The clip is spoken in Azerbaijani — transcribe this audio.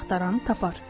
Axtaran tapar.